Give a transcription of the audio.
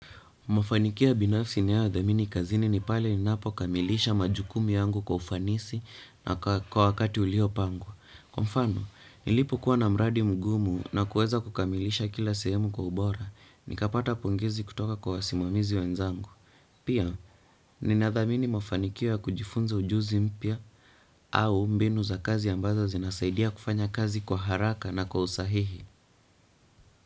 Mafanikio ya binafsi ninayo yadhamini kazini ni pale ninapo kamilisha majukumu yangu kwa ufanisi na kwa wakati uliopangwa. Kwa mfano, nilipokuwa na mradi mgumu na kueza kukamilisha kila sehemu kwa ubora, nikapata pongezi kutoka kwa wasimamizi wenzangu. Pia, nina dhamini mafanikio ya kujifunza ujuzi mpya au mbinu za kazi ambazo zinasaidia kufanya kazi kwa haraka na kwa usahihi.